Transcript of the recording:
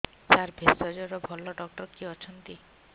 ସାର ଭେଷଜର ଭଲ ଡକ୍ଟର କିଏ ଅଛନ୍ତି